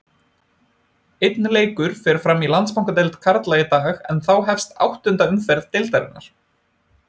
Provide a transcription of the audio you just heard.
Einn leikur fer fram í Landsbankadeild karla í dag en þá hefst áttunda umferð deildarinnar.